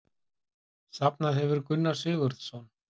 Safnað hefur Gunnar Sigurðsson.